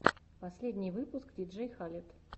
последний выпуск диджей халед